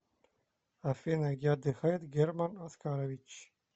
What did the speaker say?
афина где отдыхает герман оскарович